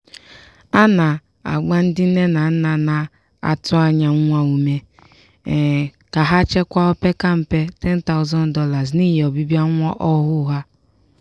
a na-agba ndị nne na nna na-atụ anya nwa ume ka ha chekwaa o opeka mpe $10000 n'ihi ọbịbịa nwa ọhụụ ha.